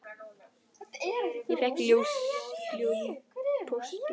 Ég fékk ljóð í pósti.